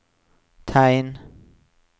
tegn